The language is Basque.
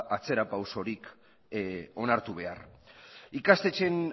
atzera pausorik onartu behar ikastetxeen